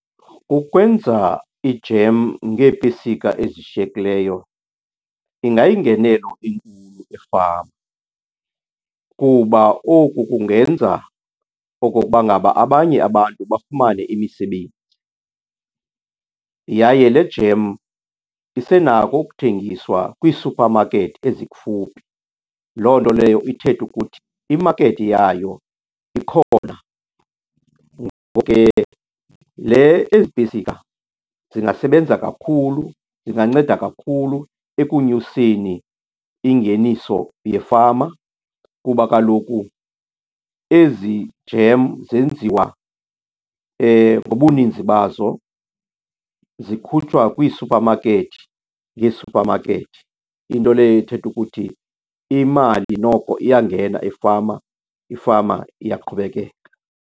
Ukwenza i-jam ngeepesika ezishiyekileyo ingayingenelo efama kuba oku kungenza okokuba ngaba abanye abantu bafumane imisebenzi. Yaye le jam isenako ukuthengiswa kwii-supermarket ezikufuphi, loo nto leyo ithethe ukuthi i-market yayo ikhona. Le, ezi pesika zingasebenza kakhulu, zinganceda kakhulu ekunyuseni ingeniso yefama kuba kaloku ezi jam zenziwa ngobuninzi bazo. Zikhutshwa kwii-supermarket ngee-supermarket, into leyo ethetha ukuthi imali noko iyangena efama, ifama iyaqhubekeka.